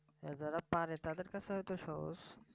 যারা পারে তাদের কাছে হয়তো সহজ